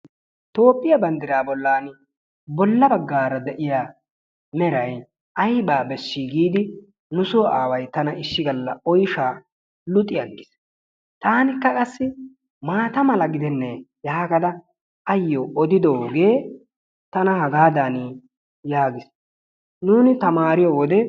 Toophphiyaa banddiraa bollaan bolla baggaara de'iyaa meeray aybaa bessii giidi nussoo away tana issi galla oyshshaa luxxi aggiis. Taanikka qassi maata mala gidenee yaagada ayoo odidoogee tana haagaadan yaagiis. nuuni taamariyoo wode.